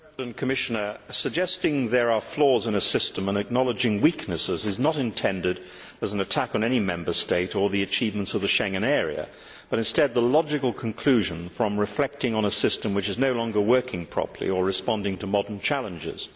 Mr President, suggesting there are flaws in a system and acknowledging weaknesses is not intended as an attack on any Member State or the achievements of the Schengen area, but instead the logical conclusion from reflecting on a system which is no longer working properly or responding to modern challenges.